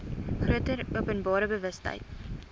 groter openbare bewustheid